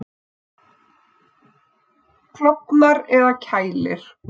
Klofnar eða kælir?